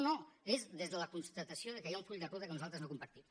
no no és des de la constatació que hi ha un full de ruta que nosaltres no compartim